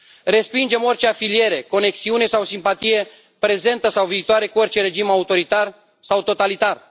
Respingem orice afiliere, conexiune sau simpatie, prezentă sau viitoare, cu orice regim autoritar sau totalitar.